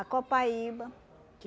A copaíba. Que